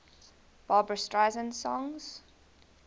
barbra streisand songs